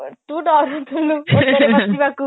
ତୁ ଡରୁଥିଲୁ ଓଟ ରେ ବସିବାକୁ